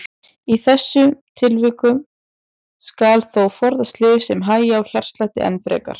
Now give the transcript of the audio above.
Í þessum tilfellum skal þó forðast lyf sem hægja á hjartslætti enn frekar.